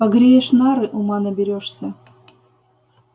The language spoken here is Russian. погреешь нары ума наберёшься